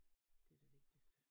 Det det vigtigste